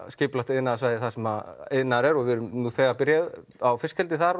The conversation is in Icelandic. iðnaðarsvæði þar þar sem iðnaður er og við erum þegar byrjuð á fiskeldi þar